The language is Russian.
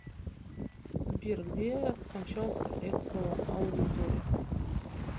сбер где скончался эцио аудиторе